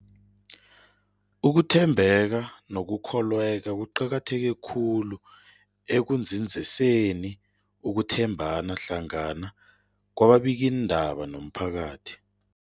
Ukuthembeka nokukholweka kuqakatheke khulu ekunzinziseni ukuthembana hlangana kwababikiindaba nomphakathi.